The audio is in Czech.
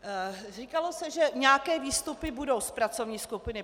Říkalo se, že nějaké výstupy budou z pracovní skupiny.